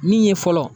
Min ye fɔlɔ